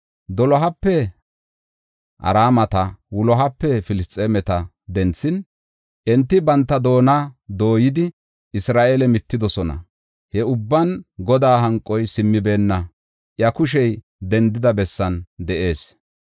Dolohape Araameta, wulohape Filisxeemeta denthin, enti banta doona dooyidi, Isra7eele mittidosona. He ubban Godaa hanqoy simmibeenna; iya kushey dendida bessan de7ees.